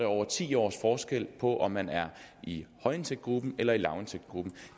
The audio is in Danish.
over ti års forskel på om man er i højindtægtsgruppen eller i lavindtægtsgruppen